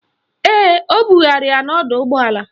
Ee, o bugara ya n'ọdọụgbọala.